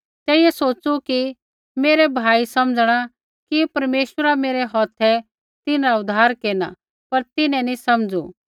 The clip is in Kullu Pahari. तेइयै सोच़ू कि मेरै भाई समझ़णा कि परमेश्वरा मेरै हौथै तिन्हरा उद्धार केरना पर तिन्हैं नी समझ़ू